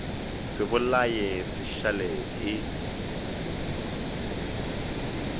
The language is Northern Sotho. se bolae se šale e